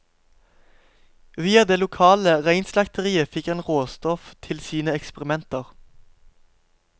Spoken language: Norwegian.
Via det lokale reinslakteriet fikk han råstoff til sine eksperimenter.